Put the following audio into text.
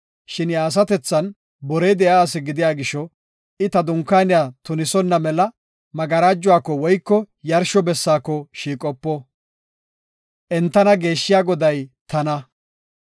Shin iya asatethan borey de7iya asi gidiya gisho, I ta Dunkaaniya tunisonna mela magarajuwako woyko yarsho bessaako shiiqopo. Entana geeshshiya Goday tana.”